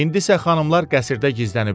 İndisə xanımlar qəsrdə gizləniblər.